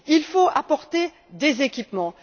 Il faut apporter des équipements.